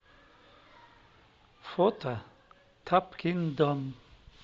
фото тапкин дом